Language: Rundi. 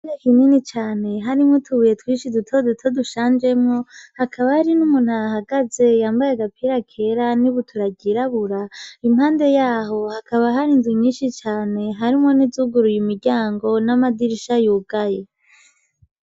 Reka inini cane harimwo itubuye twishi i duto duto dushanjemwo hakaba hari n'umuntahagaze yambaye agapira kera ni bu turagirabura impande yaho hakaba hari inzu nyinshi cane harimwo n'izuguruye imiryango n'amadirisha yugaye.